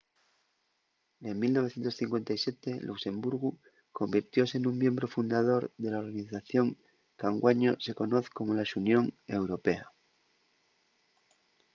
en 1957 luxemburgu convirtióse nun miembru fundador de la organización qu’anguaño se conoz como la xunión europea